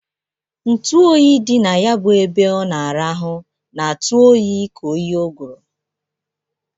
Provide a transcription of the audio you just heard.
Ntu oyi dị na ya bụ ebe ọ na-arahụ na-atụ oyi ka oyi ụgụrụ.